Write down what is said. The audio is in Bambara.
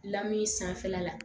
Lamin sanfɛla la